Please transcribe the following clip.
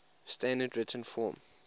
standard written form